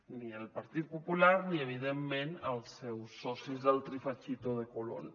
ni el partit popular ni evidentment els seus socis del trifachito de colón